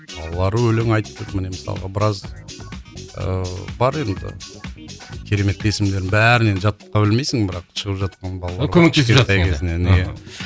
балалары өлең айтты міне мысалға біраз ыыы бар енді керемет есімдердің бәрін енді жатқа білмейсің бірақ шығып жатқан балалар кішкентай кезінен иә